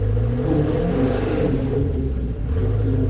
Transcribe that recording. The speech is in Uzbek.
O‘t ochgan kishi Iordaniya politsiyasida xizmat qilgan.